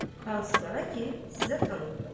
Hansılara ki, sizə tanıtdım.